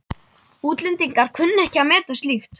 Útlendingar kunna ekki að meta slíkt.